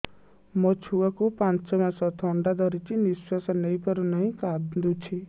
ମୋ ଛୁଆକୁ ପାଞ୍ଚ ମାସ ଥଣ୍ଡା ଧରିଛି ନିଶ୍ୱାସ ନେଇ ପାରୁ ନାହିଁ କାଂଦୁଛି